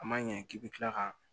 A ma ɲɛ k'i bi kila ka